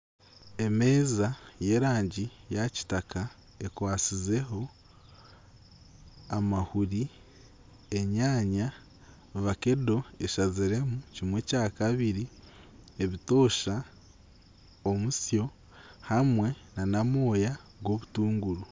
Emeeza y'erangi ya kitaka ekwatsizeho amahuri, enyanya, vakedo eshaziremu kimwe kyakabiri, ebitoosa, omutsyo hamwe nana amabaabi g'obutunguru.